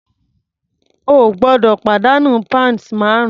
O gbọ́dọ̀ pàdánù pounds márùn-ún.